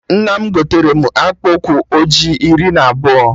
Nna m gotere mụ akpụkpụ ụkwụ ọjị iri na abụọ